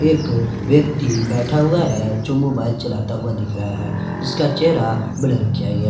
एक व्यक्ति बैठा हुआ है जो मोबाइल चलाता हुआ दिख रहा है जिसका चेहरा ब्लर किया गया है।